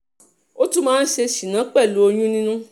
ó tún máa ń ṣe ṣínà pẹ̀lú oyún nínú